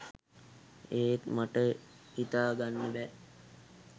ඒත් මට හිතාගන්න බෑ